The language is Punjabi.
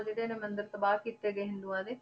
ਜਿਹੜੇ ਇਹਨੇ ਮੰਦਿਰ ਤਬਾਹ ਕੀਤੇ ਗਏ ਹਿੰਦੂਆਂ ਦੇ